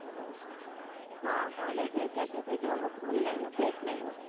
ହଁ toilet ଯାଇକି ଆସି ପି ଦବୁ ଭଲ ଲାଗିବ fresh ଲାଗିବ